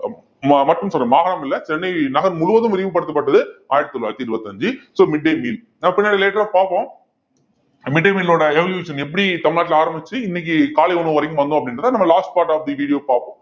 ம~ மற்றும் சொல்றேன் மாகாணம் இல்லை சென்னை நகர் முழுவதும் விரிவுபடுத்தப்பட்டது ஆயிரத்தி தொள்ளாயிரத்தி இருபத்தி அஞ்சு so midday meal நாம பின்னாடி later ஆ பார்ப்போம் midday meal ஓட evolution எப்படி தமிழ்நாட்டுல ஆரம்பிச்சு இன்னைக்கு காலை உணவு வரைக்கும் வந்தோம் அப்படின்றதை நம்ம last part of the video பார்ப்போம்